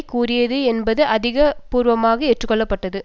கூறியது என்பது அதிகாரபூர்வமாக ஏற்றுக்கொள்ளப்பட்டது